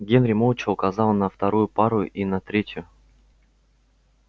генри молча указал на вторую пару и на третью